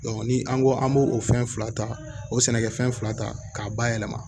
ni an ko an b'o o fɛn fila ta o sɛnɛkɛfɛn fila ta k'a bayɛlɛma